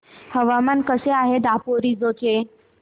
हवामान कसे आहे दापोरिजो चे